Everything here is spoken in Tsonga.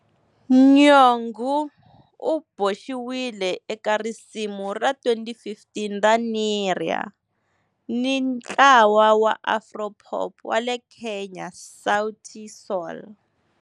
Nyong'o u boxiwile eka risimu ra 2015 ra"Nerea" hi ntlawa wa afro-pop wa le Kenya Sauti Sol.